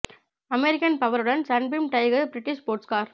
American power உடன் Sunbeam Tiger British sports car